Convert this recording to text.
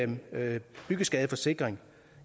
det med byggeskadeforsikring